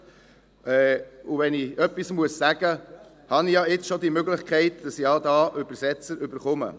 Und wenn ich etwas sagen muss, habe ich ja jetzt schon die Möglichkeit, dass ich Übersetzer bekomme.